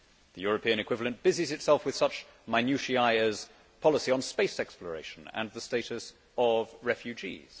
the European equivalent busies itself with such minutiae as policy on space exploration and the status of refugees.